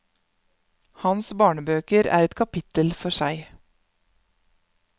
Hans barnebøker er et kapittel for seg.